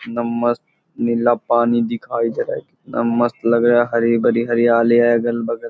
कितना मस्त नीला पानी दिखाई दे रहा है कितना मस्त लग रहा है हरी-भरी हरियाली है अगल बगल --